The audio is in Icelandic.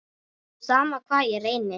Sama hvað ég reyndi.